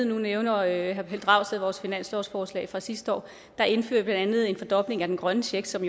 nu nævner herre pelle dragsted vores finanslovsforslag fra sidste år der indførte andet en fordobling af den grønne check som